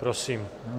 Prosím.